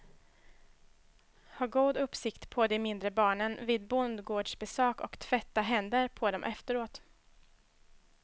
Ha god uppsikt på de mindre barnen vid bondgårdsbesök och tvätta händer på dem efteråt.